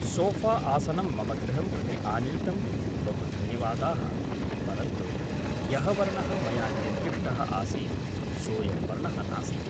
सोऴा आसनं मम गृहं प्रति आनीतं बहु धन्यवादाः परन्तु यः वर्णः मया निर्दिष्टः आसीत् सोऽयं वर्णः नास्ति